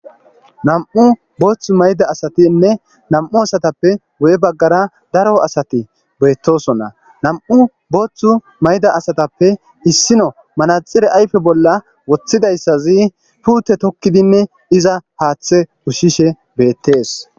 nam7u booththu mayda asatinne nam7u asatappe wo7e baggara daro asati beettosonna nam7u booththu mayda asatappe issino manaxire ayfe bolla woththidayssazi puute tokkidinne iza haaththe ushshishe beettees